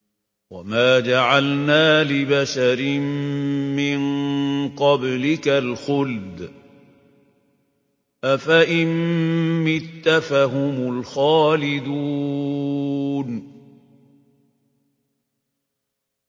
وَمَا جَعَلْنَا لِبَشَرٍ مِّن قَبْلِكَ الْخُلْدَ ۖ أَفَإِن مِّتَّ فَهُمُ الْخَالِدُونَ